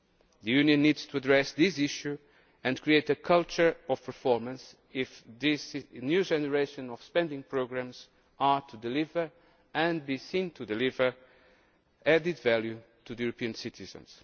The Union needs to address this issue and create a culture of performance if the new generation of spending programmes is to deliver and be seen to deliver added value to European citizens.